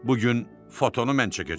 Bu gün fotonu mən çəkəcəm.